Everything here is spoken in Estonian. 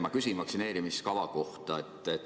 Ma küsin vaktsineerimiskava kohta.